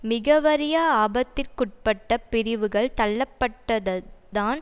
மிக வறிய ஆபத்திற்குட்பட்ட பிரிவுகள் தள்ளப்பட்டதுதான்